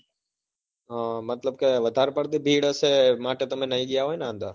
હ મતલબ કે વધારે પડતું ભીડ હશે માટે તમે નહી ગયા હોય ને અંદર?